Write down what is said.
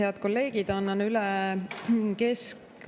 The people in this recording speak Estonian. Head kolleegid!